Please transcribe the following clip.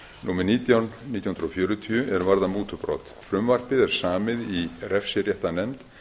númer nítján nítján hundruð fjörutíu er varða mútubrot frumvarpið er samið í refsiréttarnefnd